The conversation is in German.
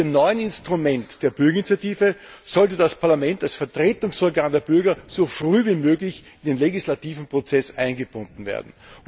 Mit dem neuen Instrument der Bürgerinitiative sollte das Parlament als Vertretungsorgan der Bürger so früh wie möglich in den legislativen Prozess eingebunden werden.